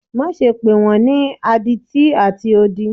Maṣe pe wọn ni aditi ati odi!